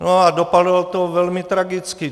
No a dopadlo to velmi tragicky.